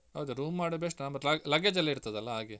ಹೌದು room ಮಾಡುದು best ಅಂದ್ರೆ ಮತ್ತೆ luggage ಎಲ್ಲ ಇರ್ತದಲ್ಲ ಹಾಗೆ.